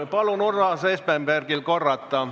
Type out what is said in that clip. Palun Urmas Espenbergil korrata.